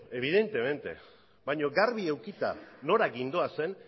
evidentemente baina garbi edukita nora gindoazen